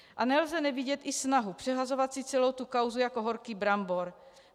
A nelze nevidět i snahu, přehazovat si celou tu kauzu jako horký brambor.